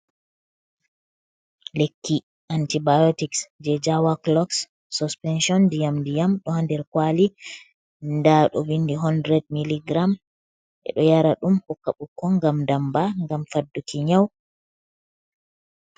Lekki antibiotics, jei jawakloks suspenshon ndiyam ndiyam ɗo ha nder kwali, nda ɗo vindi 100 mg ɓe ɗo yara ɗum, hokka ɓikkon gam damba ngam fadduki nyau.